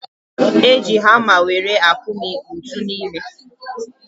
Eji hama were akụmi ntu n'ime